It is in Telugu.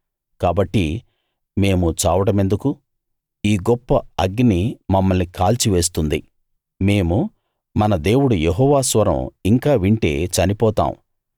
కాబట్టి మేము చావడమెందుకు ఈ గొప్ప అగ్ని మమ్మల్ని కాల్చివేస్తుంది మేము మన దేవుడు యెహోవా స్వరం ఇంకా వింటే చనిపోతాం